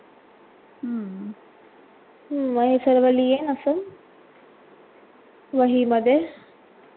हम्म हे सर्व लिहिण असं वही मध्ये